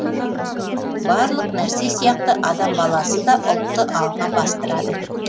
барлық нәрсе сияқты адам баласы да ұлтты алға бастырады